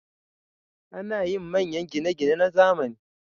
Ana yin manyan gine-gine na zamani.